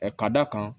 Ɛ ka d'a kan